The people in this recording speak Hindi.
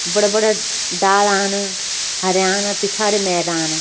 बड़ा बड़ा डालान हरयान पिछाड़ी मैदान।